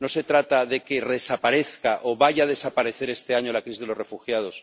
No se trata de que desaparezca o vaya a desaparecer este año la crisis de los refugiados.